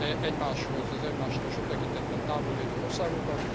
egymáshoz az egymástól sok tekintetben távol lévő országokat.